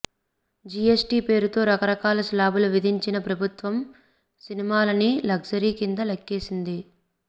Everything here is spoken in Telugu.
జిఎస్టి పేరుతో రకరకాల శ్లాబులు విధించిన ప్రభుత్వం సినిమాలని లగ్జరీ కింద లెక్కేసింది